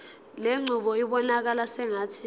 lenqubo ibonakala sengathi